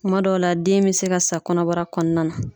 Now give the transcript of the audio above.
Kuma dɔw la den bɛ se ka sa kɔnɔbara kɔnɔna na.